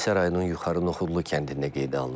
Hadisə rayonun Yuxarı Nuxudlu kəndində qeydə alınıb.